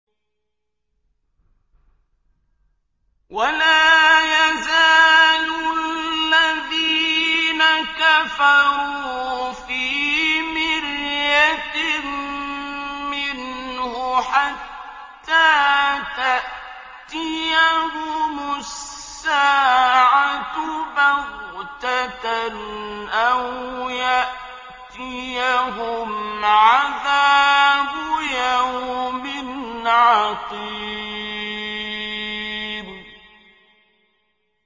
وَلَا يَزَالُ الَّذِينَ كَفَرُوا فِي مِرْيَةٍ مِّنْهُ حَتَّىٰ تَأْتِيَهُمُ السَّاعَةُ بَغْتَةً أَوْ يَأْتِيَهُمْ عَذَابُ يَوْمٍ عَقِيمٍ